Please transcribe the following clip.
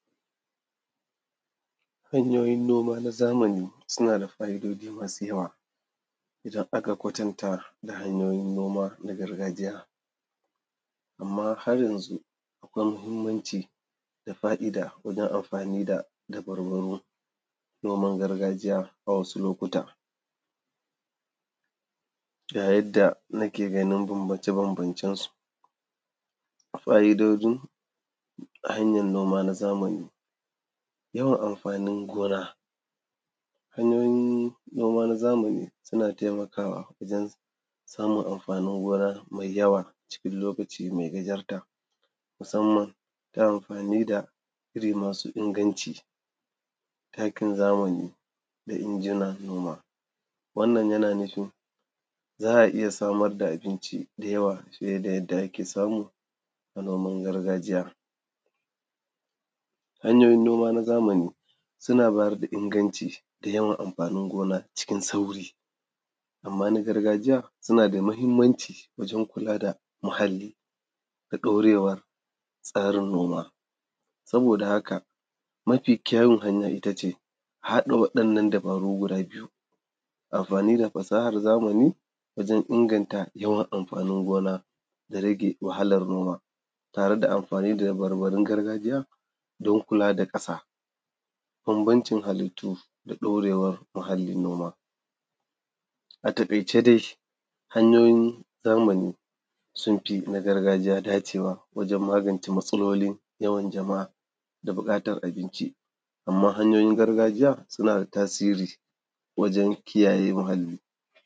Hanyoyin noma na zamani suna da fa’idoji masu yawa idan aka kwatanta da hanyoyin noma na gargajiya, amma haryanzu akwai mahimmanci da fa’ida wajen amfani da dabarun noma na gargajiya a wasu lokutan yayin da nake ganin bambance-bambancensu. Fa’idojin hanyan noma na zamani yawan amfanin gona, hanyoyin noma na zamani suna taimakawa wajen samun amfanin gona maiyawa cikin lokaci mai gajarta, musamman ta amfani da iri masu inganci, takin zamani da injinan noma, wannan yana nufin za a iya samar da abinci da yawa fiye da yanda ake samu a noman gargajiya. Hanyoyin noma na zamani suna bayar da inganci da yawan amfanin gona cikin sauri, amma na gargajiya na da mahimmanci wajen kula da muhalli da ɗaurewar tsarin noma, saboda a haka mafi kyawun hanya ita ce haɗa waɗannan dabaru guda biyu, amfani da fasahar zamani wajen inganta yawan amfanin gona da rage wahalar noma tare da amfani da dabarbarun gargajiya don kula da ƙasa bambancin halittu da ɗaurewar muhallin gona. A takaice dai hanyoyin zamani sun fi na gargajiya dacewa wajen magance matsalolin yawan jama’a da buƙatar abinci, amma hanyoyin gargajiya suna da tasiri wajen kiyaye muhalli.